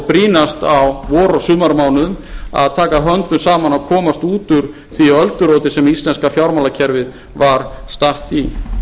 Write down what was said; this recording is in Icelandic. brýnast á vor og sumarmánuðum að taka höndum saman að komast út úr því ölduróti sem íslenska fjármálakerfið var statt í